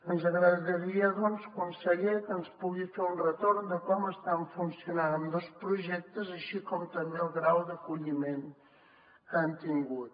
ens agradaria doncs conseller que ens pugui fer un retorn de com estan funcionant ambdós projectes així com també el grau d’acolliment que han tingut